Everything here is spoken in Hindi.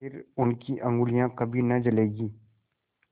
फिर उनकी उँगलियाँ कभी न जलेंगी